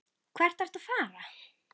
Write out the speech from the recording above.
Hvert ertu að fara?